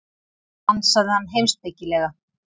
ansaði hann heimspekilega.